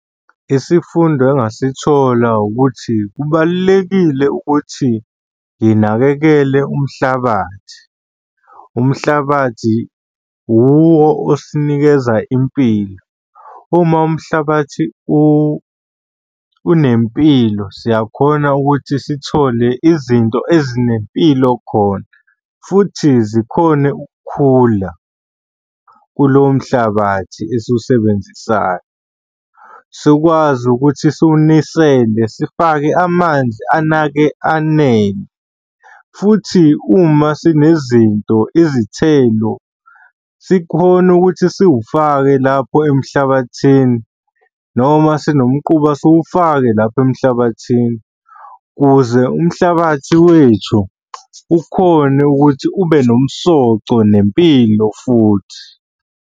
Isifundo engasithola ukuthi kubalulekile ukuthi nginakekele umhlabathi, umhlabathi uwo osinikeza impilo. Uma umhlabathi unempilo, siyakhona ukuthi sithole izinto ezinempilo khona futhi zikhone ukukhula kulowo mhlabathi esiwusebenzisayo. Sikwazi ukuthi siwunisele sifake amanzi anake anele, futhi uma sinezinto izithelo sikhone ukuthi siwufake lapho emhlabathini noma sinomquba siwufake lapho emhlabathini ukuze umhlabathi wethu ukhone ukuthi ube nomsoco nempilo futhi.